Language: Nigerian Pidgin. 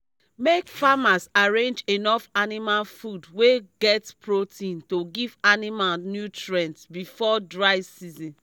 make farmers arrange enough animal food wey get protein to give animals nutrient before dry season